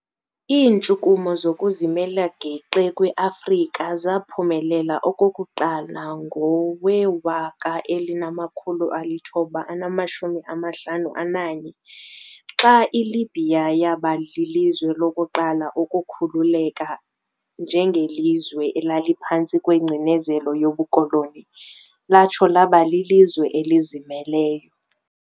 Iintshukumo zokuzimela geqe kweAfrika zaphumelela okokuqala ngowe-1951, xa iLibya yaba lilizwe lokuqala ukukhululeka njengelizwe elaliphantsi kwengcinezelo yobukoloni, latsho laba lilizwe elizimeleyo.